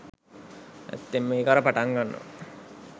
ඇත්තෙන්ම ඒක අර පටන් ගන්නවා